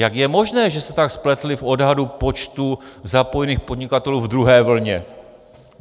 Jak je možné, že se tak spletli v odhadu počtu zapojených podnikatelů ve druhé vlně?